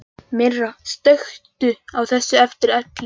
Myrra, slökktu á þessu eftir ellefu mínútur.